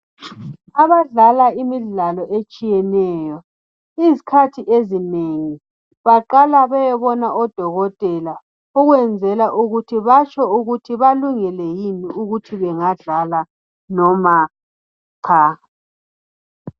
Abadlala imidlalo etshiyeneyo izikhathi ezinengi baqala beyebona odokotela ukwenzela ukuthi batsho ukuthi balungele yini ukuthi bengadlala noma cha.